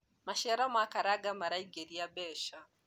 maciaro ma karanga maraingiria mbeca